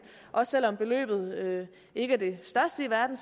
og selv om beløbet ikke er det største i verden